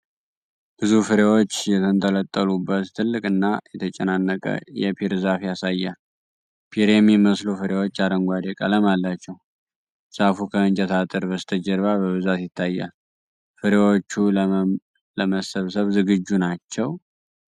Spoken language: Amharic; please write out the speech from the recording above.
ብዙ ፍሬዎች የተንጠለጠሉበት ትልቅና የተጨናነቀ የፒር ዛፍ ያሳያል። ፒር የሚመስሉ ፍሬዎች አረንጓዴ ቀለም አላቸው። ዛፉ ከእንጨት አጥር በስተጀርባ በብዛት ይታያል። ፍሬዎቹ ለመሰብሰብ ዝግጁ ናቸው?